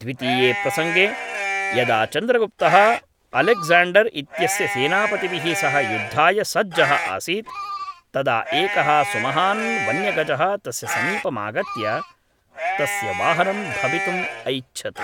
द्वितीये प्रसङ्गे, यदा चन्द्रगुप्तः अलेक्ज़ाण्डर् इत्यस्य सेनापतिभिः सह युद्धाय सज्जः आसीत् तदा एकः सुमहान् वन्यगजः तस्य समीपम् आगत्य तस्य वाहनं भवितुम् ऐच्छत्।